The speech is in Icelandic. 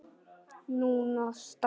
Núna strax?